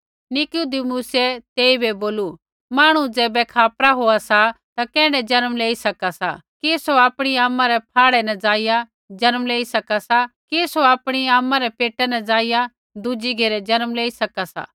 निकुदेमुसऐ तेइबै बोलू मांहणु ज़ैबै खापरा होआ सा ता कैण्ढै जन्म लेई सका सा कि सौ आपणी आमा रै फाह्ड़ै न जाईया जन्म लेई सका सा कि सौ आपणी आमा रै पेटा न जाईया दुज़ी घेरै जन्म लेई सका सा